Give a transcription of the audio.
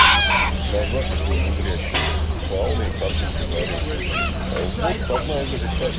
на закусь не мудрящую фауны и картинки дарил вот одна из этих карт